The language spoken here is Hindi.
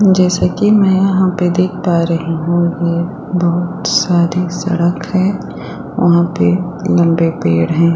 जैसा की मैं यहाँ पे देख पा रही हूँ ये बहुत सारी सड़क है वहाँ पे लम्बे पेड़ है।